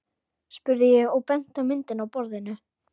spurði ég og benti á myndina á borðinu.